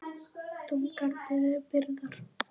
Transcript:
Þungar byrðar.